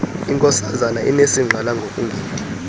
inkosazana inesingqala ngokungendi